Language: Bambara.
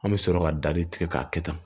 An bɛ sɔrɔ ka dali tigɛ k'a kɛ tan